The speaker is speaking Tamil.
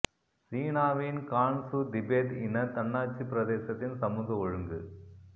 சீனாவின் கான் ஸூ திபெத் இன தன்னாட்சிப் பிரதேசத்தின் சமூக ஒழுங்கு